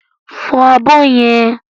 Fọ abọ́ yẹn!